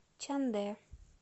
чандэ